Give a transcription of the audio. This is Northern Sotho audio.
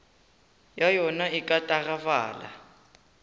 ya yona e ka tagafala